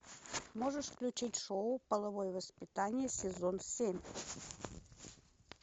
можешь включить шоу половое воспитание сезон семь